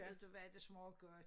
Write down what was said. Ved du hvad det smager godt